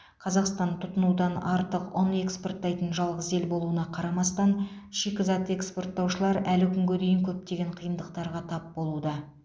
қазақстан тұтынудан артық ұн экспорттайтын жалғыз ел болуына қарамастан шикізат экспорттаушылар әлі күнге дейін көптеген қиындықтарға тап болуда